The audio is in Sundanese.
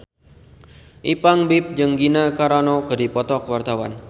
Ipank BIP jeung Gina Carano keur dipoto ku wartawan